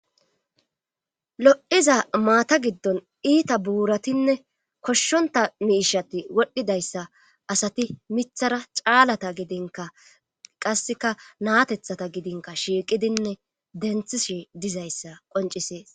lo7iza maata giddon iita buuratinne koshshonta miishati wodhdhidayssa asati mithara caalata gidinka qasseka naatethata gidinka shiiqidinne denthishi dizayssa qoncisees